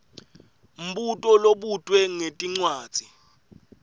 mbuto lobutwe ngetincwadzi